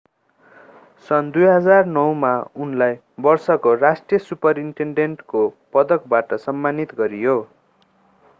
सन् 2009 मा उनलाई वर्षको राष्ट्रिय सुपरिटेन्डेन्टको पदकबाट सम्मानित गरियो